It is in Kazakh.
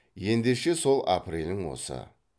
ендеше сол апрелің осы